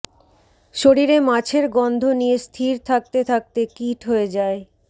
শরীরে মাছের গন্ধ নিয়ে স্থির থাকতে থাকতে কীট হয়ে যাই